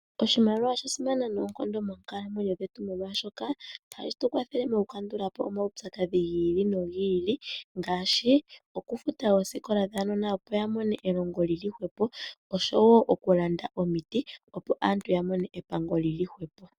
Oshimaliwa sha simana noonkondo monkalamwenyo dhetu molwaashoka ohashi tukwathele okukandula po omaupyakadhi gi ili nogi ili ngaashi okufuta oosikola dhaanona opo yamone elongo lili hwepo oshowo okulanda omiti opo aantu yamone epango lili hwepo.